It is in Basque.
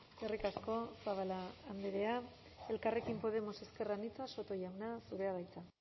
eskerrik asko zabala andrea elkarrekin podemos ezker anitza soto jauna zurea da hitza